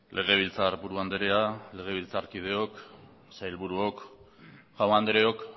legebiltzarburu andrea legebiltzarkideok sailburuok jaun andreok